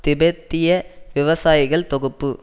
திபெத்திய விவசாயிகள் தொகுப்பு